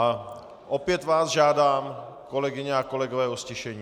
A opět vás žádám, kolegyně a kolegové, o ztišení.